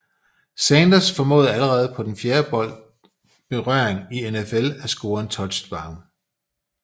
Sanders formåede allerede på han fjerde bold berøring i NFL at score en touchdown